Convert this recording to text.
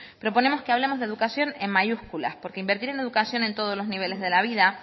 proponemos que hablemos de educación en mayúsculas porque invertir en educación en todos los niveles de la vida